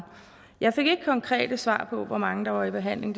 jeg fik ikke et konkret svar på hvor mange der var i behandling